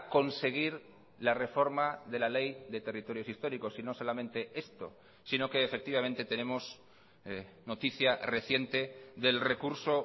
conseguir la reforma de la ley de territorios históricos y no solamente esto sino que efectivamente tenemos noticia reciente del recurso